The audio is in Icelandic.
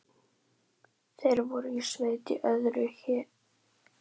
Þeir voru í sveit í öðru héraði.